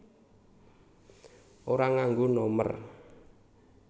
Ora nganggo nomer